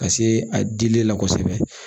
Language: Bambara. Ka se a dili la kosɛbɛ